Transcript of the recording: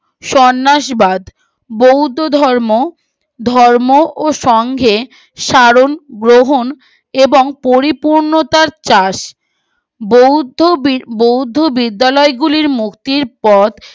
সন্ন্যাস বাদ বৌদ্ধ ধর্ম ধর্ম ও সঙ্গে সারণ গ্রহণ এবং পরিপূর্ণতার চাষ বৌদ্ধ বি বৌদ্ধ বিদ্যালয় গুলির মুক্তির পথ